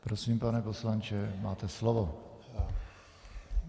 Prosím, pane poslanče, máte slovo.